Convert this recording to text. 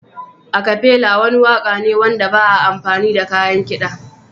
Acafela wani waƙa ne wanda ba a amfani da kayan kiɗa.